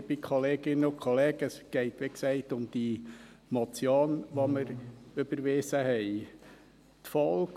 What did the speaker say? Es geht, wie gesagt, um die Motion, die wir überwiesen haben .